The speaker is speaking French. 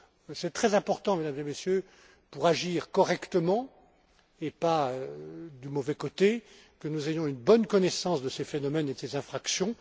Il est très important, Mesdames et Messieurs, pour agir correctement et non pas du mauvais côté, que nous ayons une bonne connaissance de ces phénomènes et de ces infractions.